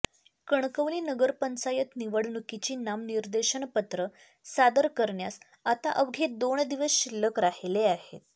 कणकवली नगरपंचायत निवडणुकीची नामनिर्देशनपत्र सादर करण्यास आता अवघे दोन दिवस शिल्लक राहिले आहेत